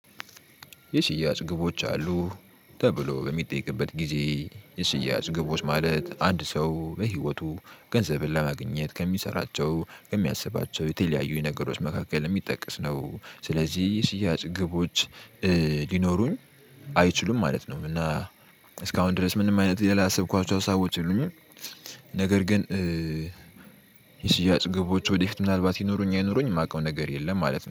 የሽያጭ ግቦች አሉህ ተብሎ በሚጠየቅበት ጊዜ የሽያጭ ግቦች ማለት አንድ ሰው በህይወቱ ገንዘብን ለማግኘት ከሚሰራቸው ከሚያስባቸው የተለያዩ ነገሮች መካከል የሚጠቀስ ነው ሰለዚህ የሽያጭ ግቦች ሊኖሩኝ አይችሉም ማለት ነው። እና እስካሁን ድረስ ምንም አይነት ሌላ ያሰብኳቸው ሀሳቦች የሉኝም። ነገር ግን የሽያጭ ግቦች ወደፊት ምናልባት ይኑሩኝ አይኑሩኝ የማውቀው ነገር የለም ማለት ነው